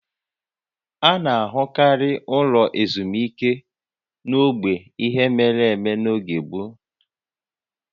A na-ahụkarị ụlọ ezumike n'ogbe ihe mere eme n'oge gboo